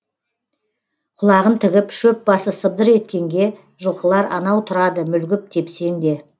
құлағын тігіп шөп басы сыбдыр еткенге жылқылар анау тұрады мүлгіп тепсеңде